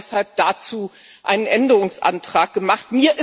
Wir haben deshalb dazu einen Änderungsantrag gemacht.